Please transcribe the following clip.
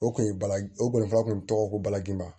O kun ye baraji o kɔni fa kun tɔgɔ ko balaji ma